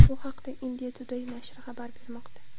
Bu haqda India Today nashri xabar bermoqda .